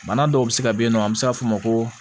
Bana dɔw bɛ se ka yen nɔ an bɛ se ka fɔ ma ko